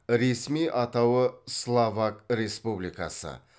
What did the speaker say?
ресми атауы словак республикасы